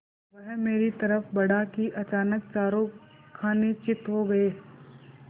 वह मेरी तरफ़ बढ़ा कि अचानक चारों खाने चित्त हो गया